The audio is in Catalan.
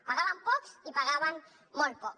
pagaven pocs i pagaven molt poc